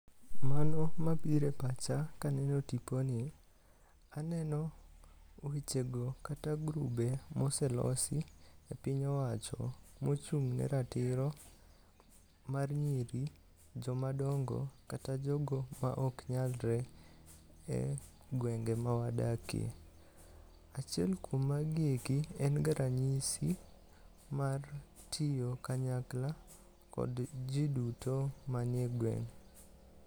Mano mabiro e pacha kaneno tiponi, aneno wechego kata grube moselosi e piny owacho mochung' ne ratiro mar nyiri, joma dongo kata jogo maok nyalre e gwenge ma wadakie. Achiel kuom magi eki en ga ranyisi mar gi tiyo kanyakle kod ji duto mantie e gweng,